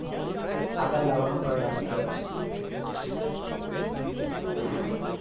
આગળ લાવાનો પ્રયાસ કરે છે